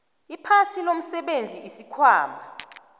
iphasi lomsebenzi isikhwama